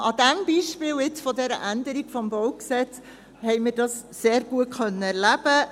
Am Beispiel dieser Änderung des BauG, haben wir dies sehr gut erleben können.